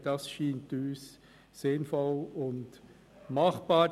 Das erscheint uns als sinnvoll und machbar.